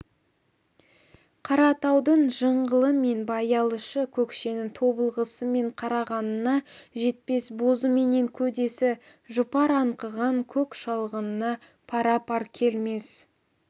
қаратаудың жыңғылы мен баялышы көкшенің тобылғысы мен қарағанына жетпес бозы менен көдесі жұпар аңқыған көк шалғынына пара-пар келмес